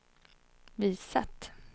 visat